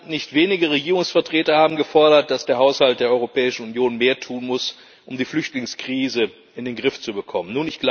Nicht wenige Regierungsvertreter haben gefordert, dass der Haushalt der Europäischen Union mehr tun muss, um die Flüchtlingskrise in den Griff zu bekommen.